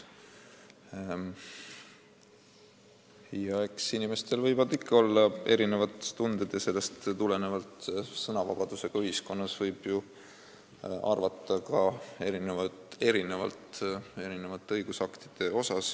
Eks inimestel võivad ikka olla erinevad tunded ja sellest tulenevalt võib sõnavabadusega ühiskonnas ju ka erinevate õigusaktide kohta erinevalt arvata.